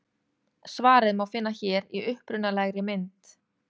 Svarið má finna hér í upprunalegri mynd.